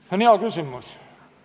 See on hea küsimus.